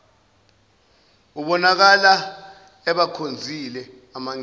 ubonakala ebakhonzile amangisi